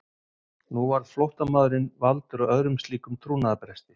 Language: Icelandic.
Nú varð flóttamaðurinn valdur að öðrum slíkum trúnaðarbresti.